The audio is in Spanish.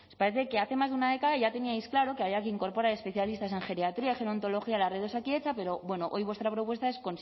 parece que hace más de una década ya teníais claro que había que incorporar especialistas en geriatría gerontología a la red de osakidetza pero bueno hoy vuestra propuesta es